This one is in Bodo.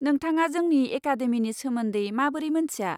नोंथाङा जोंनि एकाडेमिनि सोमोन्दै माबोरै मोन्थिया?